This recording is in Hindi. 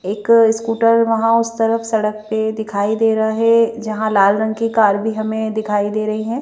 एक स्कूटर वहां उस तरफ सड़क पे दिखाई दे रहा है जहां लाल रंग की कार भी हमें दिखाई दे रही है।